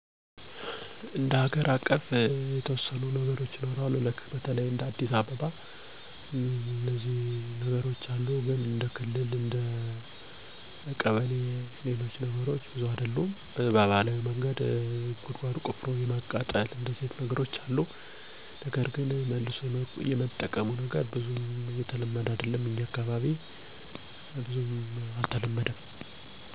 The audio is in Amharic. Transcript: በኢትዮጵያ ማህበረሰቦች ውስጥ የቆሻሻ አስወጋጅ ዘዴዎች እና ፈጠራዊ የመልሶ አጠቃቀም ልምዶች እየተስፋፉ ነው። ከባህላዊ ዘዴዎች እስከ ዘመናዊ ፈጠራዎች ድረስ የተለያዩ አቀራረቦች ይገኛሉ። ቆሻሻወችን ማቃጠል፣ ለእንስሳት ምግብነት ማዋል በ ገጠሩ አካባቢ የተለመዱ ባህላዊ ቆሻሻን የማስወገድ ተግባራት ናቸው። ባዶ ፕላስቲክ ጠርሙሶችን በአሸዋ ወይም በሌሎች ቆሻሻ እቃዎች በመሙላት ለግንባታ እንዲውሉ ማድረግ ዘመናዊ የአጠቃቀም ዘዴ ነው።